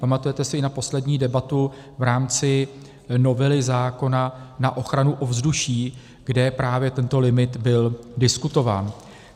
Pamatujete si i na poslední debatu v rámci novely zákona na ochranu ovzduší, kde právě tento limit byl diskutován.